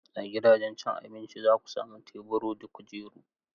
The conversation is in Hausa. A gidajen cin abinci, za ku sami tebura da kujeru.